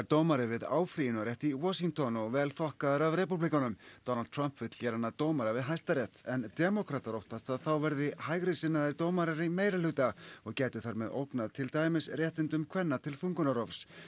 dómari við áfrýjunarrétt í Washington og vel þokkaður af repúblikönum Donald Trump vill gera hann að dómara við Hæstarétt en demókratar óttast að þá verði hægrisinnaðir dómarar í meirihluta og gætu þar með ógnað til dæmis réttindum kvenna til þungunarrofs